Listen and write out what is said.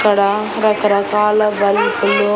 ఇక్కడ రకరకాల బల్బులు --